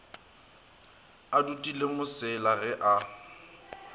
a dutile mosela ge a